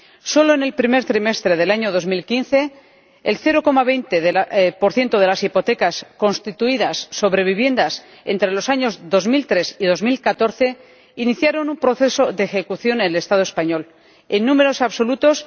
Solo en el primer trimestre del año 2015, el 0,20 de las hipotecas constituidas sobre viviendas entre los años 2003 y 2014 iniciaron un proceso de ejecución en el Estado español, en números absolutos